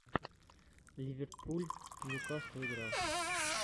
ливерпуль ньюкасл игра